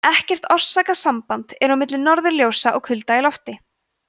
ekkert orsakasamband er á milli norðurljósa og kulda í lofti